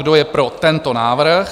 Kdo je pro tento návrh?